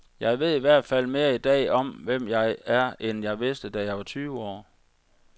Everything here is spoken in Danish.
Jeg ved i hvert fald mere i dag om, hvem jeg er, end jeg vidste, da jeg var tyve år.